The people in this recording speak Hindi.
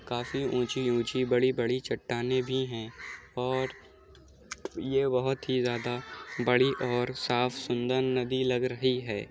काफी ऊँची-ऊँची बड़ी-बड़ी चट्टानें भी है और ये बहोत ही ज्यादा बड़ी और साफ सुंदर नदी लग रही है।